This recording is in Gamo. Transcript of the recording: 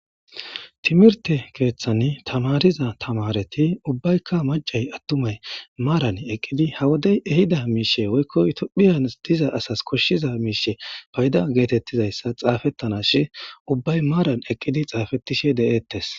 timirte keeththani tamariza tamareti ubbaykka macay attumay maaran eqqidi hawodey ehida miishe woykko tophiyan diza asas koshshiza miishe payda geetettizayssa xaafettanashi ubbay maaran eqqidi xaafettishe de7eettes